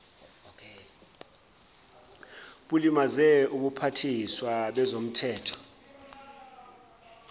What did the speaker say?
bulimaze ubuphathiswa bezomthetho